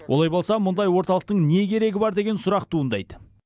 олай болса мұндай орталықтың не керегі бар деген сұрақ туындайды